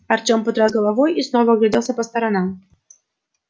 артём потряс головой и снова огляделся по сторонам